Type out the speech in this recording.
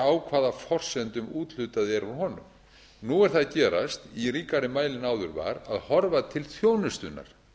á hvaða forsendum úthlutað er úr honum nú er það að gerast í ríkari mæli en áður var að horfa til þjónustunnar